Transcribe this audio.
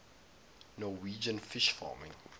norwegian fish farming